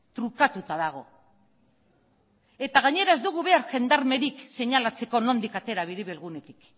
trukatuta dago eta gainera ez dugu behar jendarmerik seinalatzeko nondik atera biribilgunetik